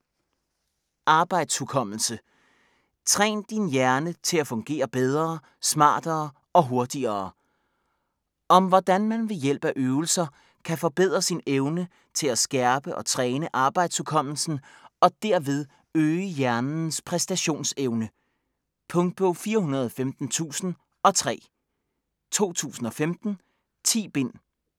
Arbejdshukommelse: Træn din hjerne til at fungere bedre, smartere og hurtigere Om hvordan man ved hjælp af øvelser kan forbedre sin evne til at skærpe og træne arbejdshukommelsen og derved øge hjernens præstationsevne. Punktbog 415003 2015. 10 bind.